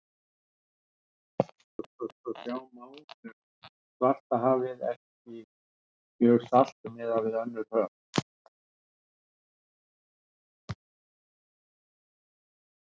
Eins og sjá má er Svartahafið ekki mjög salt í samanburði við önnur höf.